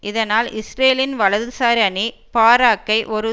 இதனால் இஸ்ரேலின் வலதுசாரி அணி பாராக்கை ஒரு